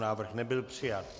Návrh nebyl přijat.